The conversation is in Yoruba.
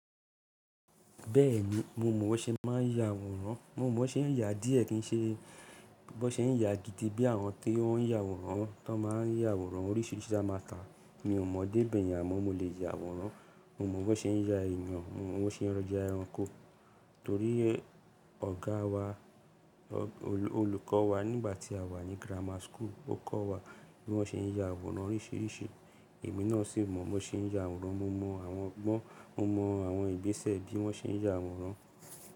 Bẹ́ẹ̀ni, mo mọ ṣe máa ń ya àwòrán. Mo mọ bó ṣe ń yà díẹ̀ kí n ṣe, bó ṣe ń yà gidi bí àwọn tí ó ń ya àwòrán tó máa ń ya àwòrán oríṣìíríṣìí tí a máa tà. Mi ò mọ dé bèyen amo mọ lè ya àwòrán. Mo mọ bó ṣe ń ya èèyàn, mo mọ bó ṣe ń ya ẹranko torí ọ̀gá wa, olùkọ́ wa nígbà tí à wà ní grammar school, ó kọ́ wa bí wọ́n ṣe ń ya àwòrán oríṣìíríṣìí. Èmi náà sì mọ bó ṣe ń ya àwòrán. Mo mọ àwọn ọgbọ́n, mo mọ àwọn ìgbésẹ̀ bí wọ́n ṣe ń ya àwòrán.